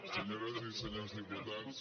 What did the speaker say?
senyores i senyors diputats